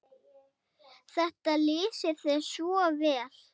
Þetta lýsir þér svo vel.